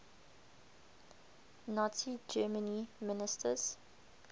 nazi germany ministers